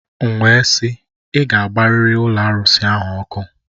M wee sị, ị ga-agbarịrị ụlọ arụsị ahụ ọkụ!